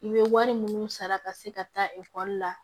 I bɛ wari minnu sara ka se ka taa ekɔli la